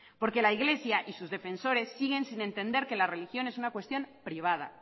porque la iglesia y sus defensores siguen sin entender que la religión es una cuestión privada